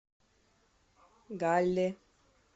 галле